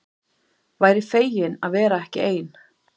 Væri fegin að vera ekki ein.